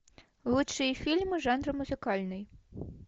лучшие фильмы жанра музыкальный